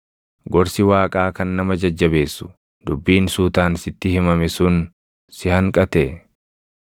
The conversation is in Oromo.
Gorsi Waaqaa kan nama jajjabeessu, dubbiin suutaan sitti himame sun si hanqatee?